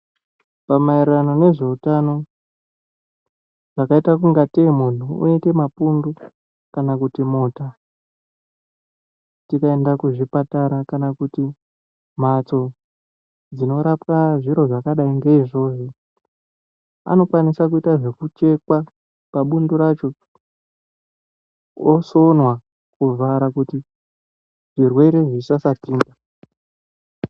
Pamaererano nezveutano chakaitakungatei munhu unoita mapundu kana kuti mota tikaenda kuzvipatara kana kuti mhatso dzinorapa zviro zvakadai ngeizvozvo anokwanisa kuita zvekucheka pabundu racho osonwa kuvhara kuti zvirwere zvisasapinda.